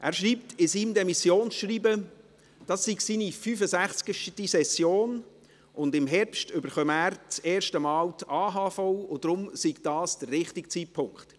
Er schreibt in seinem Demissionsschreiben, das sei seine 65. Session, im Herbst bekomme er das erste Mal die AHV und deshalb sei dies der richtige Zeitpunkt.